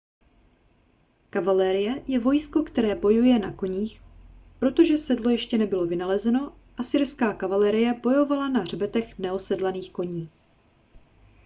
kavalérie je vojsko které bojuje na koních protože sedlo ještě nebylo vynalezeno asyrská kavalérie bojovala na hřbetech neosedlaných koní